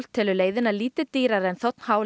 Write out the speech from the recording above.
telur leiðina lítið dýrari en þ h